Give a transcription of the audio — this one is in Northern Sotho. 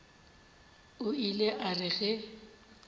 o ile a re ge